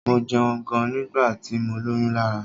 Mo jẹun gan nígbà tí mọ lóyún Lará.